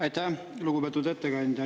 Aitäh, lugupeetud ettekandja!